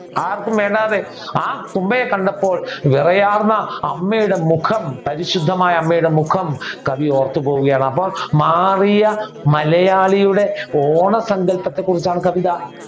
ആർക്കും വേണ്ടാ തെ ആ തുമ്പയെ കണ്ടപ്പോൾ വിറയാർന്ന അമ്മയുടെ മുഖം പരിശുദ്ധമായ അമ്മയുടെ മുഖം കവി ഓർത്തുപോകുകയാണ്. അപ്പൊ മാറിയ മലയാളിയുടെ ഓണ സങ്കൽപ്പത്തെ കുറിച്ചാണ് കവിത